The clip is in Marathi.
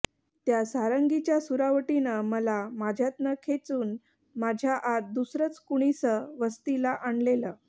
त्या सारंगीच्या सुरावटीनं मला माझ्यातनं खेचून माझ्या आत दुसरंच कुणीसं वस्तीला आणलेलं